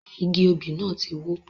Igi òbí náà tí wó